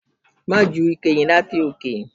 Má ju ike yẹn láti òkè!